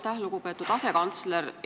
Aitäh, lugupeetud asekantsler!